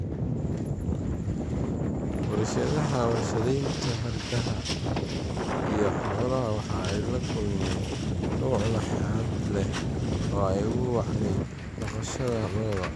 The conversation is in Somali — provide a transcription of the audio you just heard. Warshadaha warshadaynta hargaha iyo xoolaha waxa ay la kulmeen koboc laxaad leh oo ay ugu wacnayd dhaqashada lo'da.